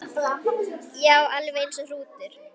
Já, alveg eins og hrútur.